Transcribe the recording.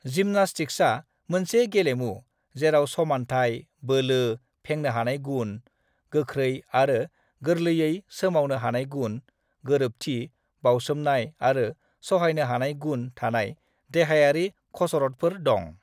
जिमनास्टिक्सा मोनसे गेलेमु जेराव समान्थाय, बोलो, फेंनो हानाय गुन, गोख्रै आरो गोरलैयै सोमावनो हानाय गुन, गोरोबथि, बावसोमनाय आरो सहायनो हानाय गुन थानाय देहायारि खसरतफोर दं।